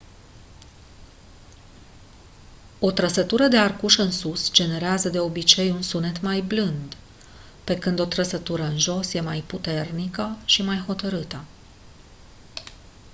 o trăsătură de arcuș în sus generează de obicei un sunet mai blând pe când o trăsătură în jos e mai puternică și mai hotărâtă